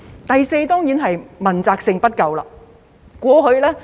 第四，當然是問責性不夠。